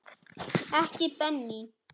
Ekki Benín.